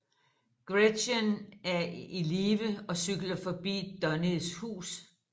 Gretchen er i live og cykler forbi Donnies hus